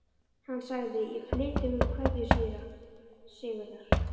Hann sagði: Ég flyt ykkur kveðju síra Sigurðar.